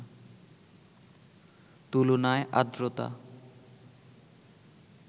তুলনায় আর্দ্রতা